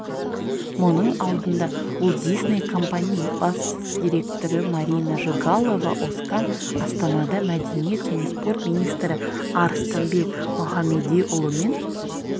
мұның алдында уолт дисней компани бас директоры марина жигалова-озкан астанада мәдениет және спорт министрі арыстанбек мұхамедиұлымен